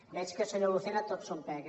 veig que senyor lucena tot són pegues